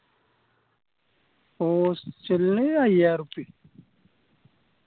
hostel നു അയ്യായിരം ഉർപ്യ